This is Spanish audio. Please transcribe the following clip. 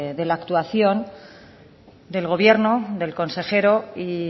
de la actuación del gobierno del consejero y